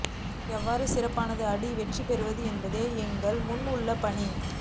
எவ்வாறு சிறப்பாக ஆடி வெற்றி பெறுவது என்பதே எங்கள் முன் உள்ள பணி